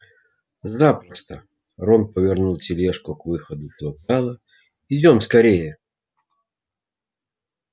запросто рон повернул тележку к выходу с вокзала идём скорее